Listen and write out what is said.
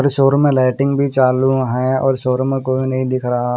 इस ओर में लाइटिंग भी चालू है और इस ओर में कोई नहीं दिख रहा--